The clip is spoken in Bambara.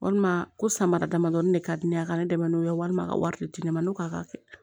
Walima ko samara damadɔni de ka di ne ye a ka ne dɛmɛ n'o ye walima ka wari de di ne ma n'o k'a kɛ